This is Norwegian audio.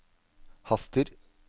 haster